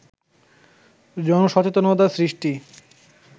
জনসচেতনতা সৃষ্টি